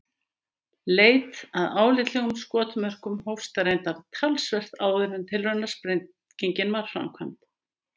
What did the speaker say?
Leit að álitlegum skotmörkum hófst reyndar talsvert áður en tilraunasprengingin var framkvæmd.